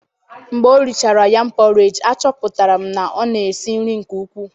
Mgbe o richara yam porridge, achọpụtara m na ọ na-esi nri nke ukwuu.